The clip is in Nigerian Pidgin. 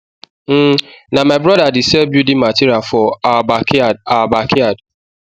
um na my broda de sell building material for our backyard our backyard